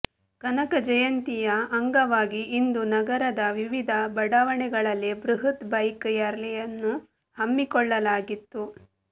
ಕನಕ ಜಯಂತಿಯ ಅಂಗವಾಗಿ ಇಂದು ನಗರದ ವಿವಿಧ ಬಡಾವಣೆಗಳಲ್ಲಿ ಬೃಹತ್ ಬೈಕ್ ರ್ಯಾಲಿಯನ್ನು ಹಮ್ಮಿಕೊಳ್ಳಲಾಗಿತ್ತು